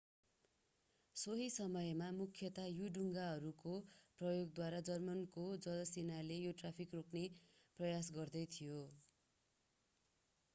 सोही समयमा मुख्यतया यु-डुङ्गाहरूको प्रयोगद्वारा जर्मनको जलसेनाले यो ट्राफिक रोक्ने प्रयास गर्दै थियो